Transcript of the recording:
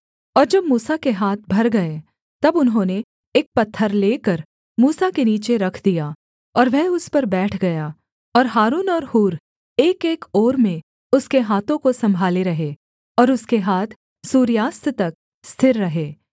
और जब मूसा के हाथ भर गए तब उन्होंने एक पत्थर लेकर मूसा के नीचे रख दिया और वह उस पर बैठ गया और हारून और हूर एकएक ओर में उसके हाथों को सम्भाले रहे और उसके हाथ सूर्यास्त तक स्थिर रहे